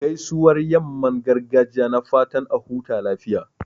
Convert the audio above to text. Gaisuwar yamman gargajiya na fatan a huta lafiya.